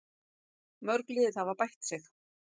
Mörg lið hafa bætt sig.